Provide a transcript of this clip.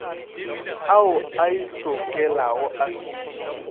ao a itlhokelago a fiwe